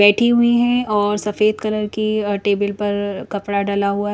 बैठी हुई है और सफेद कलर की अ टेबल पर कपड़ा डला हुआ है।